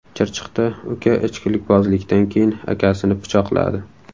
Chirchiqda uka ichkilikbozlikdan keyin akasini pichoqladi.